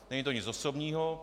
Není to nic osobního.